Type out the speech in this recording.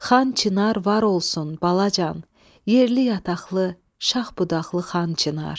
Xan Çinar var olsun, balacan, yerli-yataqlı, şax-budaqlı Xan Çinar.